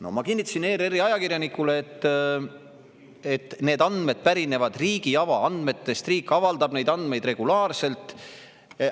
" No ma kinnitasin ERR-i ajakirjanikule, et need andmed pärinevad riigi avaandmetest, riik avaldab neid andmeid regulaarselt.